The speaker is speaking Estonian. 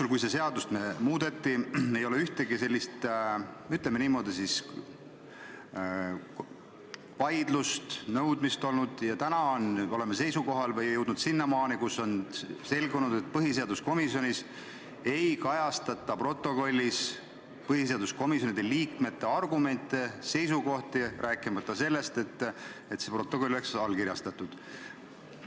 Pärast selle seaduse muutmist ei ole ühtegi sellist, ütleme, vaidlust või nõudmist olnud, aga täna oleme jõudnud sinnamaani, kus on selgunud, et põhiseaduskomisjoni protokollis ei kajastata komisjoni liikmete argumente ja seisukohti, rääkimata sellest, et protokoll oleks allkirjastatud.